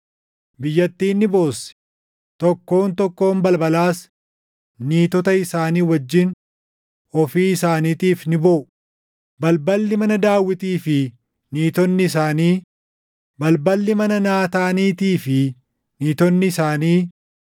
Biyyattiin ni boossi; tokkoon tokkoon balbalaas niitota isaanii wajjin ofii isaaniitiif ni booʼu; balballi mana Daawitii fi niitonni isaanii, balballi mana Naataaniitii fi niitonni isaanii,